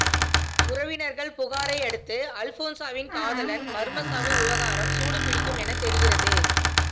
உறவினர்கள் புகாரை அடுத்து அல்போன்சாவின் காதலன் மர்மச்சாவு விவகாரம் சூடு பிடிக்கும் என தெரிகிறது